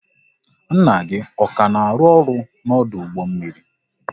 Nna gị ọ ka na arụ ọrụ n'ọdụ ụgbọ mmiri?